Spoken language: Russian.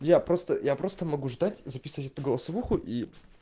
я просто я просто могу ждать и записывать эту голосовуху и